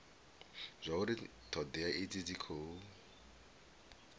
zwauri thodea idzi dzi khou